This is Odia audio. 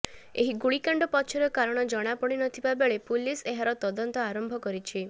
ଏହି ଗୁଳିକାଣ୍ଡ ପଛର କାରଣ ଜଣାପଡିନଥିବା ବେଳେ ପୁଲିସ ଏହାର ତଦନ୍ତ ଆରମ୍ଭ କରିଛି